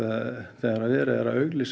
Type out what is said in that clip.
þegar verið er að auglýsa